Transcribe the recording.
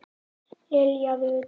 Lilja Rut.